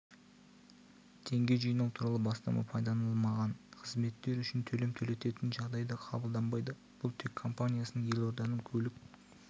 теңге жинау туралы бастама пайдаланылмаған қызметтер үшін төлем төлететін жағдайда қабылданбайды бұл тек компаниясының елорданың көлік